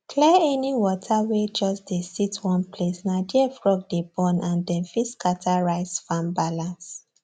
clear any water wey just dey sit one placena there frog dey born and dem fit scatter rice farm balance